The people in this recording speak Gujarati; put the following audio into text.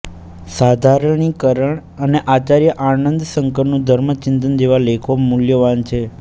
સાધારણીકરણ અને આચાર્ય આનંદશંકરનું ધર્મચિંતન જેવા લેખો મૂલ્યવાન છે